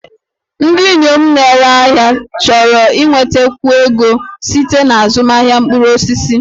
Ndị inyom na-ere ahịa chọrọ inwetakwu ego site na azụmahịa mkpụrụ osisi